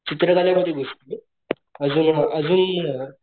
चित्रकला मध्ये घुसला आजून आजून